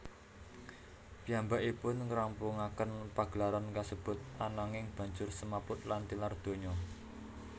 Piyambakipun ngrampungaken pagelaran kasebut ananging banjur semaput lan tilar donya